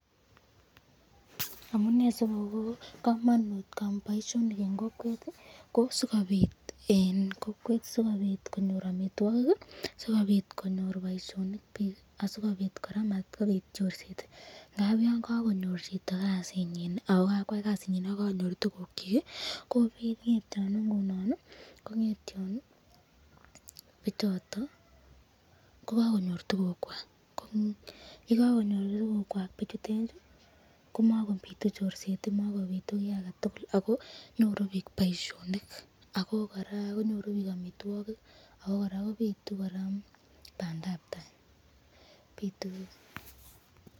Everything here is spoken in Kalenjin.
Amune sikobo kamanut boishinik eng kokwet ii sikopit konyor amitwokik ,asikobit komabit chorset, ngap yon kakonyor chito kasinyin ako kakwai Kasi nyin ako kanyor tukuk kyik komakomiten chorset, akobitu bandab tai.